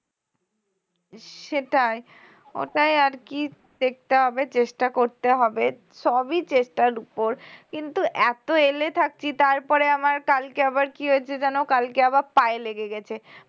সেটাই ওটাই আর কী দেখতে হবে চেষ্টা করতে হবে সবই চেষ্টার উপর কিন্তু এত এলে থাকছি তারপরে আমার কালকে আবার কি হয়েছে জানো কালকে আবার পায়ে লেগে গেছে